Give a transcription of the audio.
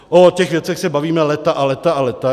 O těch věcech se bavíme léta a léta a léta.